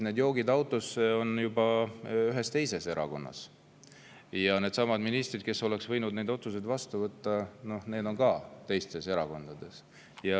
No "joogid autosse" on juba ühes teises erakonnas ja needsamad ministrid, kes oleks võinud need otsused vastu võtta, on ka teistes erakondades.